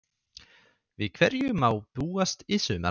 Við hverju má búast í sumar?